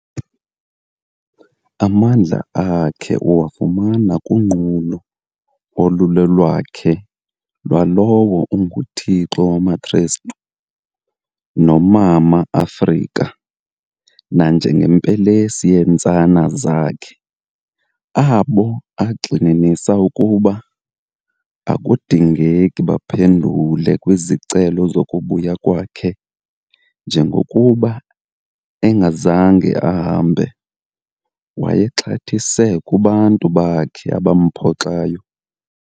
Amandla akhe uwafumana kunqulo olulolwakhe lwalowo unguThixo wamakrestu, nomama Afrika, nanjengempelesi yentsana zakhe, abo, agxininisa ukuba akudingeki baphendule kwizicelo zokubuya kwakhe njengokuba engazange ahambe, wayexhathise kubantu bakhe abamphoxayo.